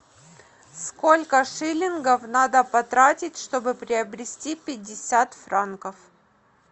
сколько шиллингов надо потратить чтобы приобрести пятьдесят франков